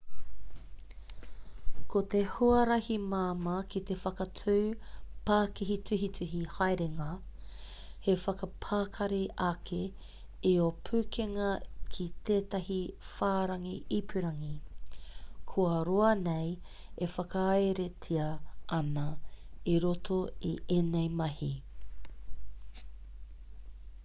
ko te huarahi māmā ki te whakatū pākihi tuhituhi haerenga he whakapakari ake i ō pukenga ki tētahi whārangi ipurangi kua roa nei e whakaeretia ana i roto i ēnei mahi